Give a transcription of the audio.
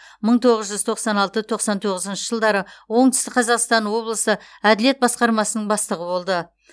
мың тоғыз жүз тоқсан алты тоқсан тоғызыншы жылдары оңтүстік қазақстан облысы әділет басқармасының бастығы болды